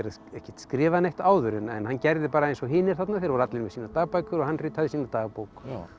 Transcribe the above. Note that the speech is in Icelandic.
ekkert skrifað neitt áður en hann gerði bara eins og hinir þarna þeir voru allir með sínar dagbækur og hann ritaði sína dagbók